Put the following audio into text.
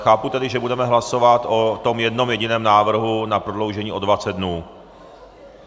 Chápu tedy, že budeme hlasovat o tom jednom jediném návrhu na prodloužení o 20 dnů.